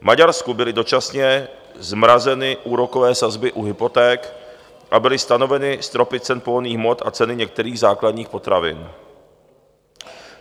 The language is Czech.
V Maďarsku byly dočasně zmrazeny úrokové sazby u hypoték a byly stanoveny stropy cen pohonných hmot a ceny některých základních potravin.